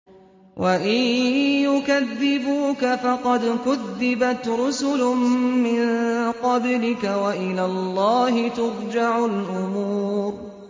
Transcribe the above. وَإِن يُكَذِّبُوكَ فَقَدْ كُذِّبَتْ رُسُلٌ مِّن قَبْلِكَ ۚ وَإِلَى اللَّهِ تُرْجَعُ الْأُمُورُ